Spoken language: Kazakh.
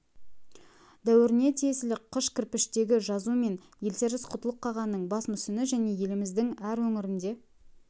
дәуіріне тиесілі қыш кірпіштегі жазу мен елтеріс құтлұғ қағанның бас мүсіні және еліміздің әр өңірінде